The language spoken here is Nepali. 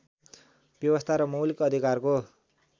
व्यवस्था र मौलिक अधिकारको